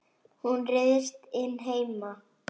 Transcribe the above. Hún ryðst inn heima.